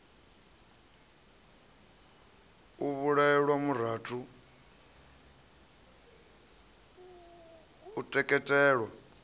u vhulaelwa murathu u teketelwa